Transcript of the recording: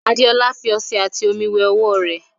Adeola fi ọṣẹ ati omi wẹ ọwọ rẹ